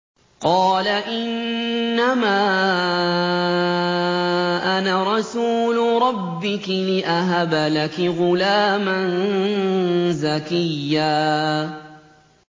قَالَ إِنَّمَا أَنَا رَسُولُ رَبِّكِ لِأَهَبَ لَكِ غُلَامًا زَكِيًّا